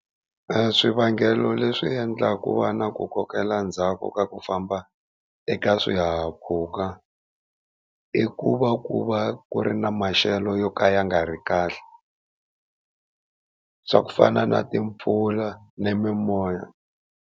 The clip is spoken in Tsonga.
Swivangelo leswi endlaka ku va na ku kokela ndzhaku ka ku famba ka swihahampfhuka, i ku va ku va ku ri na maxelo yo ka ya nga ri kahle swa ku fana na timpfula ni mimoya.